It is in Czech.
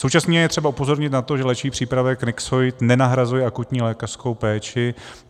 Současně je třeba upozornit na to, že léčivý přípravek Nyxoid nenahrazuje akutní lékařskou péči.